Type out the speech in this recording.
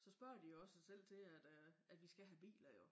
Så spørger de jo også selv til at øh at vi skal have biler jo